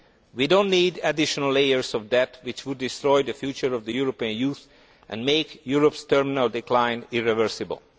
We do not need additional layers of debt which would destroy the future of European youth and make Europe's terminal decline irreversible.